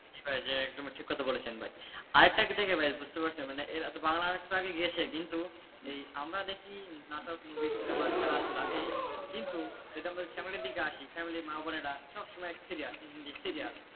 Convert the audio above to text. জি ভাই একদমই ঠিক কথা বলেছেন ভাই আরেকটা কি থেকে বুঝতে পারছেন বাংলা নাটক তো এগিয়ে গিয়েছে কিন্তু আমরা দেখি নাটক movie cinema খেলাধুলো এই কিন্তু যদি আমাদের family দিকে আসি family মা-বোনেরা সবসময় serial হিন্দি serial,